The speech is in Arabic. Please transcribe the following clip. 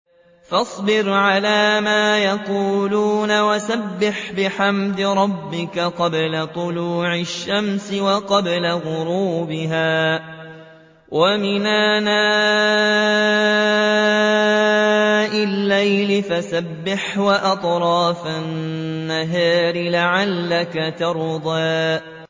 فَاصْبِرْ عَلَىٰ مَا يَقُولُونَ وَسَبِّحْ بِحَمْدِ رَبِّكَ قَبْلَ طُلُوعِ الشَّمْسِ وَقَبْلَ غُرُوبِهَا ۖ وَمِنْ آنَاءِ اللَّيْلِ فَسَبِّحْ وَأَطْرَافَ النَّهَارِ لَعَلَّكَ تَرْضَىٰ